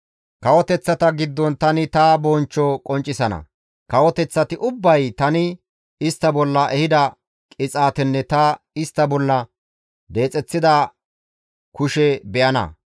«Kawoteththata giddon tani ta bonchcho qonccisana; kawoteththati ubbay tani istta bolla ehida qixaatenne ta istta bolla deexeththida kushe be7ana.